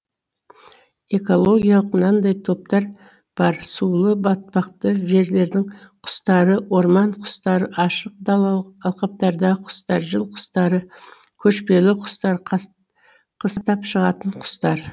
экологиялық мынадай топтар бар сулы батпақты жерлердің құстары орман құстары ашық далалы алқаптардағы құстар жыл құстары көшпелі құстар қыстап шығатын құстар